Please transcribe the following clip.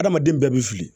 Adamaden bɛɛ bi fili